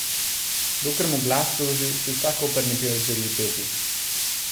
Dokler mu glas služi, si vsak operni pevec želi peti.